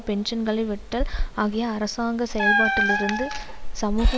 பென்ஷன்களை வெட்டல் ஆகிய அரசாங்க செயல்பாட்டிலிருந்து சமூக